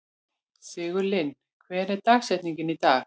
Sigurlinn, hver er dagsetningin í dag?